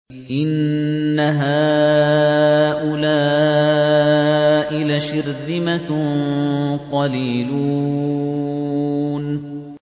إِنَّ هَٰؤُلَاءِ لَشِرْذِمَةٌ قَلِيلُونَ